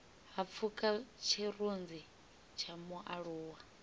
ha pfuka tshirunzi tsha mualuwa